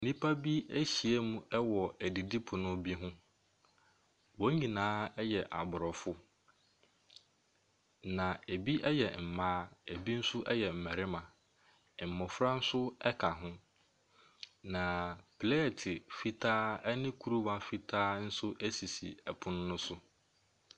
Nnipa bi ahyiam wɔ adidipono bi ho. Wɔn nyinaa yɛ Aborɔfo na ebi yɛ mmaa, ebi nso yɛ mmarima. Mmofra nso ka ho. Pleet fitaa ne kuruwa fitaa sisi pono no so.